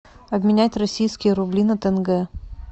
обменять российские рубли на тенге